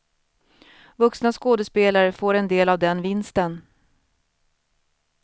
Vuxna skådespelare får en del av den vinsten.